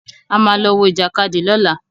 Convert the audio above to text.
A ma lọ wọ Ìjàkadì lọ́la.